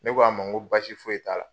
Ne ko a ma ŋo basi foyi t'a la.